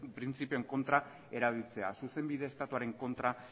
printzipioen kontra erabiltzea zuzenbide estatuaren kontra